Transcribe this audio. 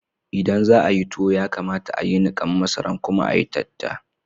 Idan za'ayi tuwo, ya kamata a'yi nikan masaran kuma a'yi tatta.